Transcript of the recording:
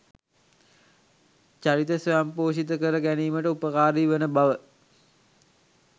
චරිත ස්වයංපෝෂිත කර ගැනීමට උපකාරී වන බව